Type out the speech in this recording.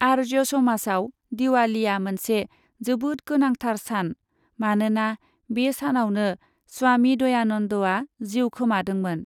आर्य समाजआव दिवालीआ मोनसे जोबोद गोनांथार सान, मानोना बे सानावनो स्वामी दयानन्दआ जिउ खोमादोंमोन।